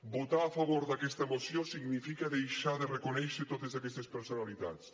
votar a favor d’aquesta moció significa deixar de reconèixer totes aquestes personalitats